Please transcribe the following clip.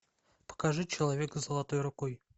покажи человека с золотой рукой